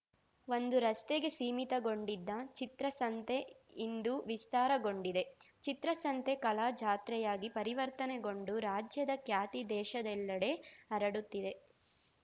ಒಂದು ರಸ್ತೆಗೆ ಸೀಮಿತಗೊಂಡಿದ್ದ ಚಿತ್ರಸಂತೆ ಇಂದು ವಿಸ್ತಾರಗೊಂಡಿದೆ ಚಿತ್ರಸಂತೆ ಕಲಾ ಜಾತ್ರೆಯಾಗಿ ಪರಿವರ್ತನೆಗೊಂಡು ರಾಜ್ಯದ ಖ್ಯಾತಿ ದೇಶದೆಲ್ಲೆಡೆ ಹರಡುತ್ತಿದೆ